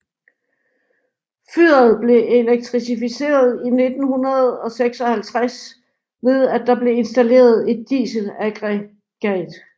Fyret blev elektrificeret i 1956 ved at der blev installeret et dieselaggregat